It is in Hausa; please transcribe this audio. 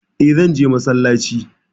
Eh, zan je massalaci